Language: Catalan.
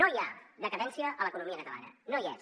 no hi ha decadència a l’economia catalana no hi és